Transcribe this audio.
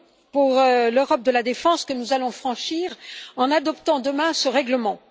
pour l'Europe de la défense que nous allons franchir en adoptant demain ce règlement.